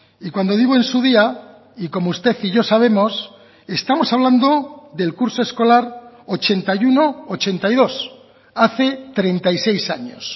y cuando digo en su día y como usted y yo sabemos estamos hablando del curso escolar ochenta y uno ochenta y dos hace treinta y seis años